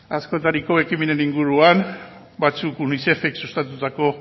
askotariko ekimenen inguruan batzuk unicefek sustatutako